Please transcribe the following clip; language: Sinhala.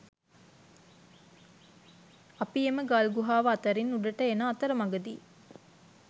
අපි එම ගල් ගුහාව අතරින් උඩට එන අතරමගදි